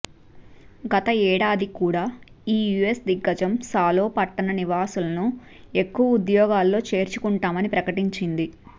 గతేడాది కూడా ఈ యూఎస్ దిగ్గజం సాలో పట్టణ నివాసులను ఎక్కువ ఉద్యోగాల్లో చేర్చుకుంటామని ప్రకటించింది